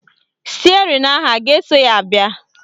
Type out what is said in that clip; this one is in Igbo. Stịerịn ahụ a ga-eso ya bịa?